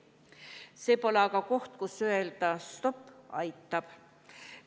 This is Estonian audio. See pole aga koht, kus öelda: stopp, aitab.